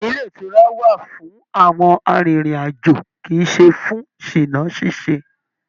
Ilé ìtura wà fún àwọn arìnrìn-àjò kì í ṣe fún ṣìná ṣíṣe